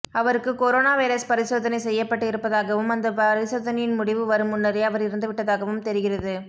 அவருக்கு corona virus பரிசோதனை செய்யப்பட்டு இருப்பதாகவும் அந்த பரிசோதனையின் முடிவு வரும் முன்னரே அவர் இறந்து விட்டதாகவும் தெரிகிறது